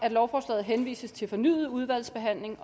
at lovforslaget henvises til fornyet udvalgsbehandling